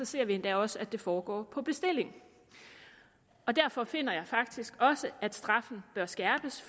ser vi endda også at det foregår på bestilling derfor finder jeg faktisk også at straffen bør skærpes